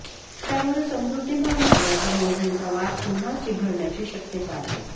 त्यामुळे समृद्धी महामार्गाच्या मोजणीचा वाद पुन्हा चिघळण्याची शक्यता आहे